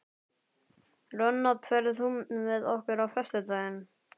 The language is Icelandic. Ronald, ferð þú með okkur á föstudaginn?